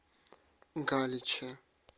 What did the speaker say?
галиче